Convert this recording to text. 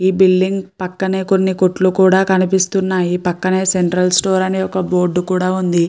ఈ బిల్డింగ్ పక్కనే కొన్ని కొట్లు కనిపిస్తున్నాయి పక్కనే సెంట్రల్ స్టోర్ అనే ఒక బోర్డు కూడా ఉంది.